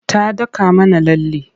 Ta daka mana lalle.